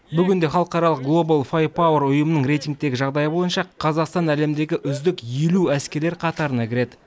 бүгінде халықаралық глобал файерпоуэр ұйымының рейтингіндегі жағдай бойынша қазақстан әлемдегі үздік елу әскерлер қатарына кіреді